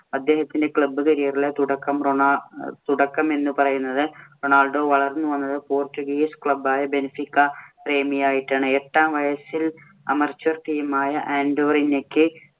അദ്ദേഹത്തിന്‍റെ club career ഇലെ തുടക്കം റൊണാ~ തുടക്കം എന്ന് പറയുന്നത് റൊണാൾഡോ വളർന്നു വന്നത് പോർച്ചുഗീസ് club ആയ ബെൻഫീക്ക പ്രേമിയായിട്ടാണ്. എട്ടാം വയസ്സിൽ ameture team ആയ ആൻഡോറീന്യക്ക്